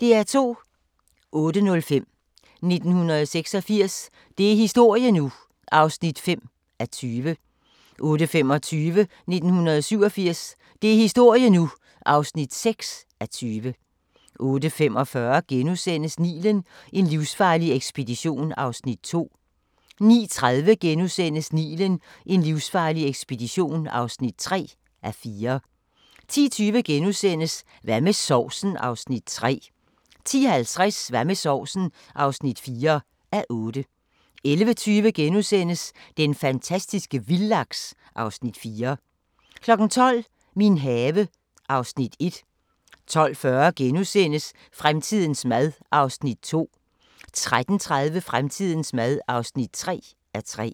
08:05: 1986 – det er historie nu! (5:20) 08:25: 1987 – det er historie nu! (6:20) 08:45: Nilen: en livsfarlig ekspedition (2:4)* 09:30: Nilen: en livsfarlig ekspedition (3:4)* 10:20: Hvad med sovsen? (3:8)* 10:50: Hvad med sovsen? (4:8) 11:20: Den fantastiske vildlaks (Afs. 4)* 12:00: Min have (Afs. 1) 12:40: Fremtidens mad (2:3)* 13:30: Fremtidens mad (3:3)